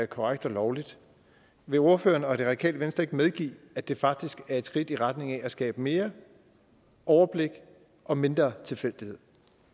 korrekt og lovligt vil ordføreren og det radikale venstre ikke medgive at det faktisk er et skridt i retning af at skabe mere overblik og mindre tilfældighed